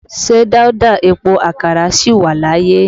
Ṣé Dauda Epo Àkàrà sì wà láyé?